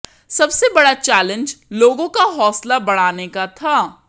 सबसे बड़ा चैलेंज लोगों का हौसला बढ़ाने का था